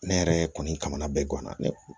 Ne yɛrɛ kɔni kamana bɛ guwan na ne